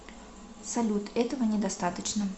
салют этого недостаточно